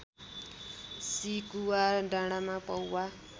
सिकुवा डाँडाँमा पौवा